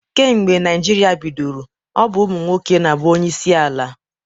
Kemgbe Naịjirịa bidoro, ọ bụ ụmụ nwoke na-abụ onyeisi ala.